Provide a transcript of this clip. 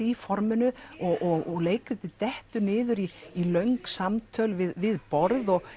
í forminu og leikritið dettur niður í í löng samtöl við borð og